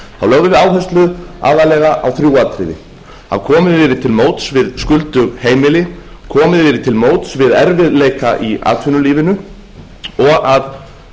við áherslu aðallega á þrjú atriði að komið yrði til móts við skuldug heimili komið yrði til móts við erfiðleika í atvinnulífinu og að